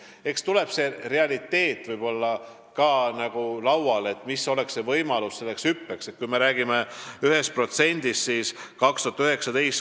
Eks seda tuleb arutada, mis võimalused selliseks hüppeks oleksid.